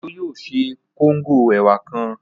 Òjó yóò ṣe kóngò ẹ̀wà kan